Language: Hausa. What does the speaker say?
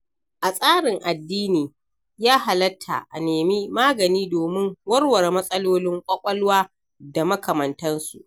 A tsarin addini ya halatta a nemi magani domin warware matsalolin ƙwaƙwalwa da makamantansu.